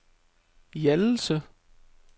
Hjallelse